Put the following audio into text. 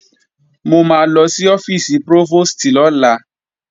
Mo máa lọ sí ọ́fíìsì prófòstì lọ́la